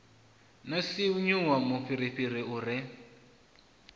no sinvuwa mufhirifhiri u re